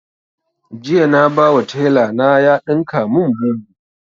Jiya na ba wa taila na ya ɗinka mun bubu